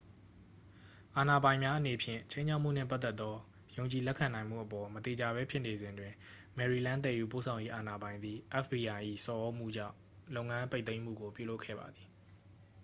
အာဏာပိုင်များအနေဖြင့် ခြိမ်းခြောက်မှုနှင့်ပတ်သက်သော ယုံကြည်လက်ခံနိုင်မှုအပေါ် မသေချာဘဲဖြစ်နေစဉ်တွင် maryland သယ်ယူပို့ဆောင်ရေးအာဏာပိုင်သည် fbi ၏ဆော်သြမှုကြောင့် လုပ်ငန်းပိတ်သိမ်းမှုကို ပြုလုပ်ခဲ့ပါသည်